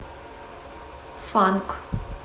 фанк